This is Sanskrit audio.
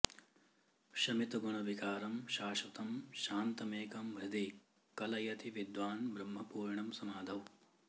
शमितगुणविकारं शाश्वतं शान्तमेकं हृदि कलयति विद्वान् ब्रह्म पूर्णं समाधौ